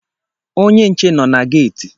Onye nche nọ na geeti